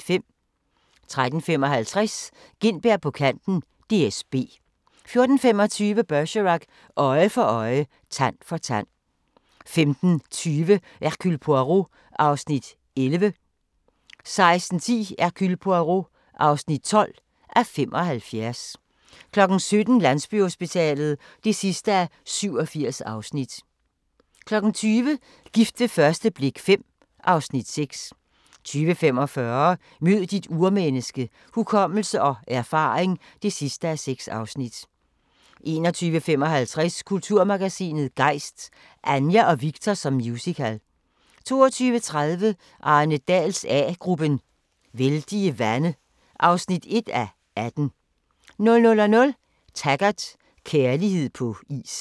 13:55: Gintberg på kanten - DSB 14:25: Bergerac: Øje for øje, tand for tand 15:20: Hercule Poirot (11:75) 16:10: Hercule Poirot (12:75) 17:00: Landsbyhospitalet (87:87) 20:00: Gift ved første blik V (Afs. 6) 20:45: Mød dit urmenneske – hukommelse og erfaring (6:6) 21:55: Kulturmagasinet Gejst: Anja og Viktor som musical 22:30: Arne Dahls A-gruppen: Vældige vande (1:18) 00:00: Taggart: Kærlighed på is